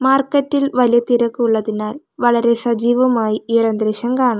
മാർക്കറ്റിൽ വലിയ തിരക്കുള്ളതിനാൽ വളരെ സജീവമായി ഈ ഒരു അന്തരീക്ഷം കാണാം.